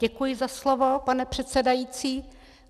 Děkuji za slovo, pane předsedající.